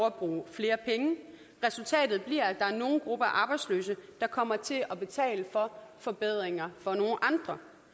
at bruge flere penge resultatet bliver er nogle grupper af arbejdsløse der kommer til at betale for forbedringer for én